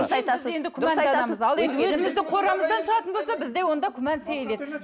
қорамыздан шығатын болса бізде онда күмән сейіледі